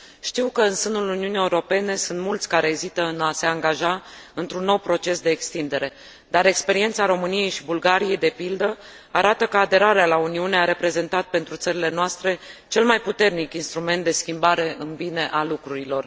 Știu că în sânul Uniunii Europene sunt mulți care ezită în a se angaja într un nou proces de extindere, dar experiența României și Bulgariei, de pildă, arată că aderarea la Uniune a reprezentat pentru țările noastre cel mai puternic instrument de schimbare în bine a lucrurilor.